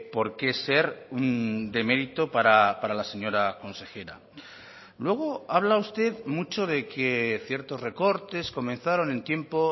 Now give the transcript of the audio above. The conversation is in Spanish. por qué ser un demerito para la señora consejera luego habla usted mucho de que ciertos recortes comenzaron en tiempo